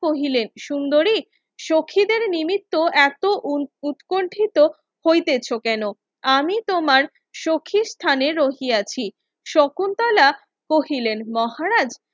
কহিলেন সুন্দরী সখীদের নিমিত্ত এতো উৎকণ্ঠিত হইতেছ কেন আমি তোমার সখিস্তানে রহিয়াছি শকুন্তলা কহিলেন মহারাজ